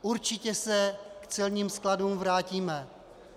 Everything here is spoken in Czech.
Určitě se k celním skladům vrátíme.